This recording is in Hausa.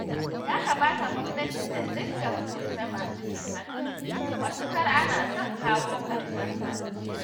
Ya kamata gwamnati ta dinga hukunta masu cin hanci matuƙar ana son kawo ƙarshensa